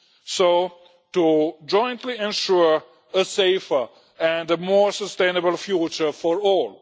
so as to jointly ensure a safer and more sustainable future for all.